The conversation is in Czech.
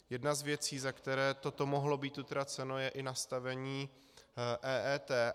Jedna z věcí, za které toto mohlo být utraceno, je i nastavení EET.